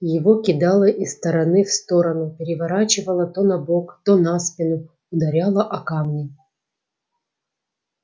его кидало из стороны в сторону переворачивало то на бок то на спину ударяло о камни